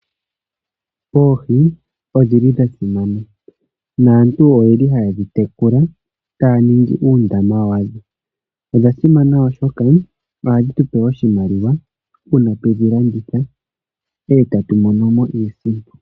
Oohi odhi li dha simana naantu oye li haye dhi tekula taya ningi uundama wadho. Odha simana, oshoka ohadhi tu pe oshimaliwa uuna twe dhi landitha e tatu mono mo iisimpo.